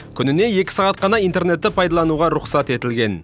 күніне екі сағат қана интернетті пайдаланауға рұқсат етілген